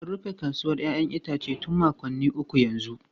An rufe kasuwar 'ya'yan itace tun makonni uku yanzu.